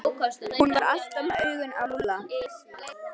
Hún var alltaf með augun á Lúlla.